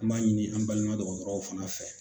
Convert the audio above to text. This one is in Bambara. An b'a ɲini an baliman dɔgɔtɔrɔw fana fɛ.